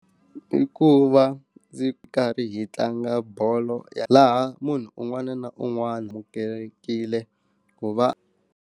I ku va ndzi karhi hi tlanga bolo laha munhu un'wana na un'wana amukelekile ku va.